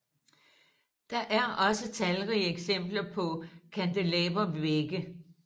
Der er også talrige eksempler på kandelabervægge